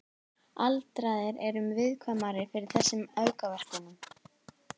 Aldraðir eru viðkvæmari fyrir þessum aukaverkunum.